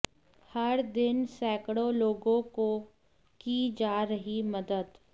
हर दिन सैकड़ों लोगों को की जा रही मदद